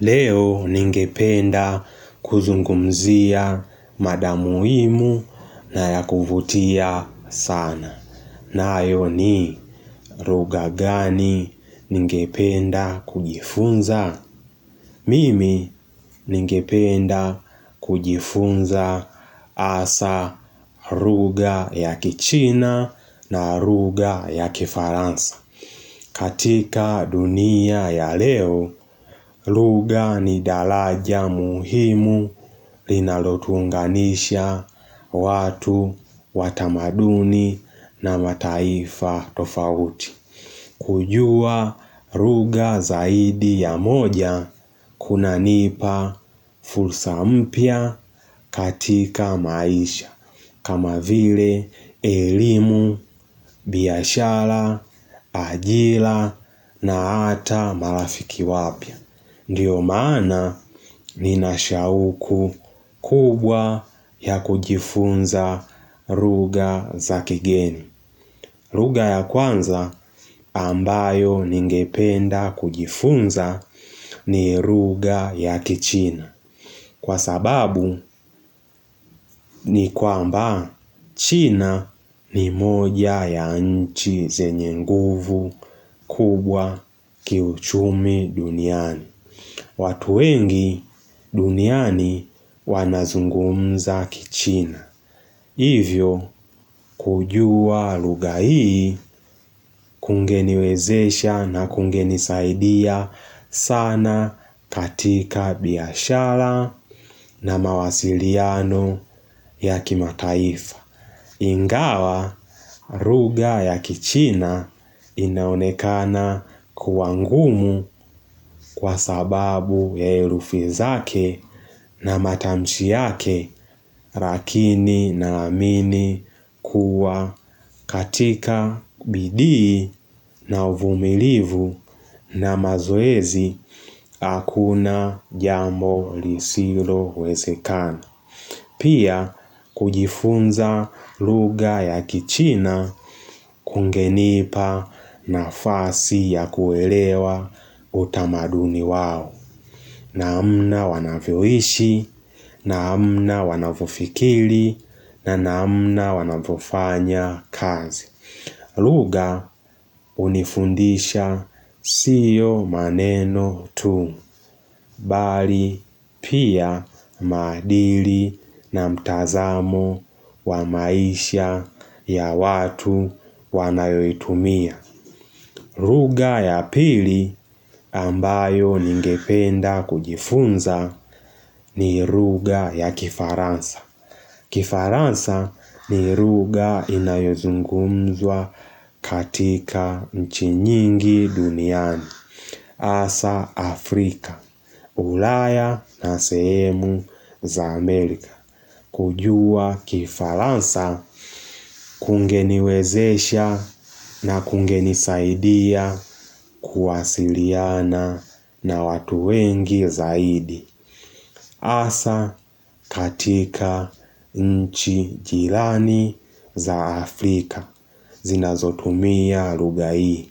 Leo ningependa kuzungumzia mada muhimu na ya kuvutia sana. Nayo ni lugha gani ningependa kujifunza? Mimi ningependa kujifunza hasa lugha ya kichina na lugha ya kifaransa. Katika dunia ya leo, lugha ni daraja muhimu linalotuunganisha watu wa tamaduni na mataifa tofauti. Kujua lugha zaidi ya moja kunanipa fursa mpya katika maisha kama vile elimu, biashara, ajira na hata marafiki wapya. Ndiyo maana nina shauku kubwa ya kujifunza lugha za kigeni. Lugha ya kwanza ambayo ningependa kujifunza ni lugha ya kichina. Kwa sababu ni kwamba china ni moja ya nchi zenye nguvu kubwa kiuchumi duniani. Watu wengi duniani wanazungumza kichina. Hivyo kujua lugha hii kungeniwezesha na kungenisaidia sana katika biashara na mawasiliano ya kimataifa. Ingawa lugha ya kichina inaonekana kuwa ngumu kwa sababu ya herufi zake na matamshi yake Lakini naamini kuwa katika bidii na uvumilivu na mazoezi hakuna jambo lisilowezekana. Pia kujifunza lugha ya kichina kungenipa nafasi ya kuelewa utamaduni wao. Namna wanavyoishi, namna wanavyofikiri na namna wanavyofanya kazi. Lugha hunifundisha sio maneno tu, bali pia maadili na mtazamo wa maisha ya watu wanayoitumia. Lugha ya pili ambayo ningependa kujifunza ni lugha ya kifaransa. Kifaransa ni lugha inayozungumzwa katika nchi nyingi duniani. Hasa Afrika, ulaya na sehemu za Amerika. Kujua kifaransa kungeniwezesha na kungenisaidia kuwasiliana na watu wengi zaidi. Hasa katika nchi jirani za Afrika zinazotumia lugha hii.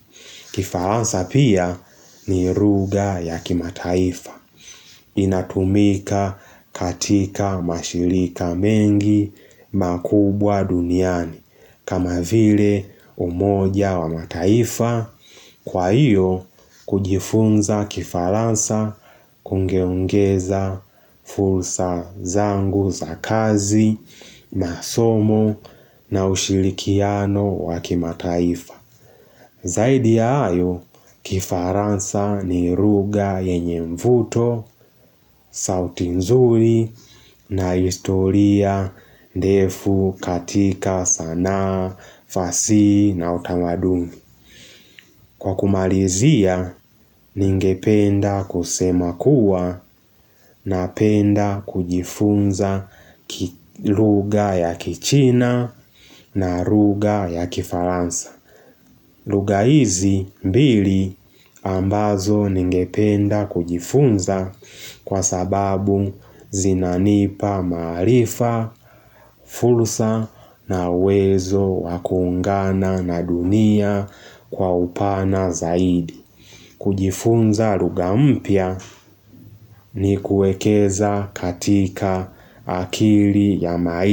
Kifaransa pia ni lugha ya kimataifa. Inatumika katika mashirika mengi makubwa duniani. Kama vile umoja wa mataifa kwa hiyo kujifunza kifaransa kungeongeza fursa zangu za kazi, masomo na ushirikiano wa kimataifa. Zaidi ya hayo, kifaransa ni lugha yenye mvuto, sauti nzuri na historia ndefu katika sanaa, fasihi na utamadumi. Kwa kumalizia, ningependa kusema kuwa napenda kujifunza lugha ya kichina na lugha ya kifaransa. Lugha hizi mbili ambazo ningependa kujifunza kwa sababu zinanipa maarifa, fursa na uwezo wa kuungana na dunia kwa upana zaidi. Kujifunza lugha mpya ni kuwekeza katika akili ya mai.